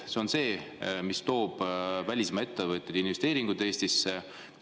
See on see, mis toob välismaa ettevõtted ja investeeringud Eestisse.